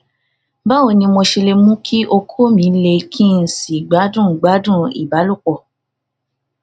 báwo ni mo ṣe lè mú kí oko mi le kí n sì gbádùn gbádùn ìbálòpọ